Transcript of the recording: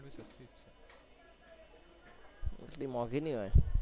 એટલી મોંઘીના હોય